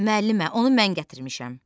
Müəllimə, onu mən gətirmişəm.